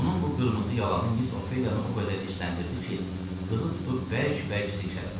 Onun bu qırmızı yalanı Miss Ofeliyanı o qədər hissləndirdi ki, qızı tutub bərk-bərk silkələdi.